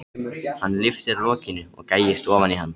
Hann lyftir lokinu og gægist ofan í hann.